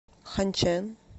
ханьчэн